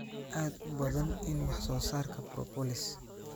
aad u badan in wax soo saarka propolis